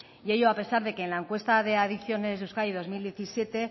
y ello a pesar de que en la encuesta de adicciones de euskadi dos mil diecisiete